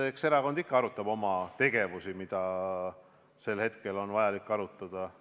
Eks erakond ikka arutab oma tegevust, mida sel hetkel on vaja arutada.